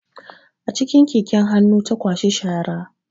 A cikin keken hannu ta kwashi shara